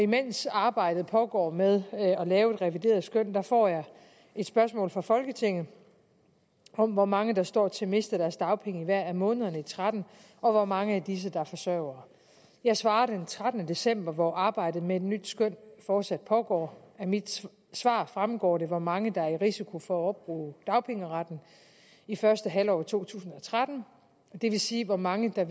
mens arbejdet pågår med at lave et revideret skøn får jeg et spørgsmål fra folketinget om hvor mange der står til at miste deres dagpenge i hver af månederne i og tretten og hvor mange af disse der er forsørgere jeg svarer den trettende december hvor arbejdet med et nyt skøn fortsat pågår af mit svar fremgår det hvor mange der er i risiko for at opbruge dagpengeretten i første halvår af to tusind og tretten det vil sige hvor mange der